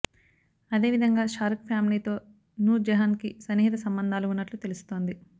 అదే విధంగా షారుఖ్ ఫ్యామిలీతో నూర్ జెహాన్ కి సన్నిహిత సంబంధాలు ఉన్నట్లు తెలుస్తోంది